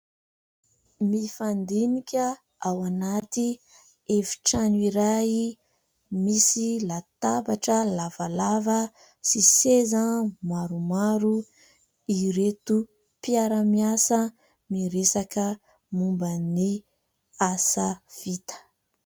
Mifandinika ao anaty efitrano iray misy latabatra lavalava sy seza maromaro ireto mpiara-miasa miresaka momba ny asa vita.